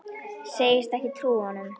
Segist ekki trúa honum.